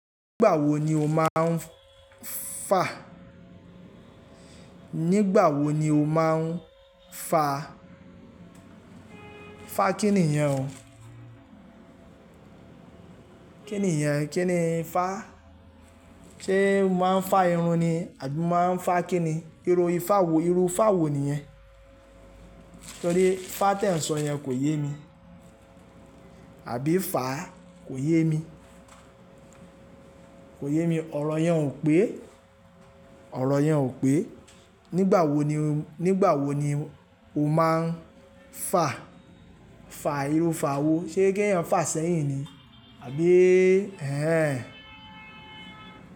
Nígbà wo ni o máa ń fa? Nígbà wo ni o máa ń fa? Fa kíni yẹn o? Kíni yẹn? Kíni fa? Ṣé o máa ń fa irun ni? Àbí mo máa ń fa kíni? Irú ifa wo, irú fa wo nìyẹn? Nítorí fa tí ẹ ń sọ yẹn kò yé mi, àbí fa kò yé mi, kò yé mi. Ọ̀rọ̀ yẹn ò pé, ọ̀rọ̀ yẹn ò pé. Nígbà wo ni, nígbà wo ni o máa ń fa? Fa irú fa wo? Ṣé kéèyàn fà sẹ́yìn ni? Àbí ẹ́hẹ́n.